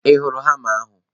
Ị hụrụ hama ahu?